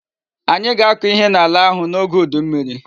Anyi ga-ako ihe n'ala ahu n'oge udu mmiri